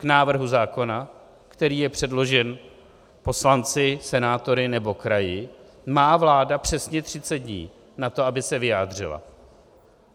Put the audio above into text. K návrhu zákona, který je předložen poslanci, senátory nebo kraji, má vláda přesně 30 dní na to, aby se vyjádřila.